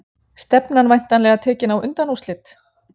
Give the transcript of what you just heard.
Stefnan væntanlega tekin á undanúrslit?